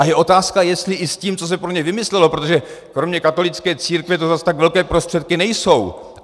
A je otázka, jestli i s tím, co se pro ně vymyslelo, protože kromě katolické církve to zas tak velké prostředky nejsou.